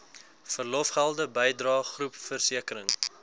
verlofgelde bydrae groepversekering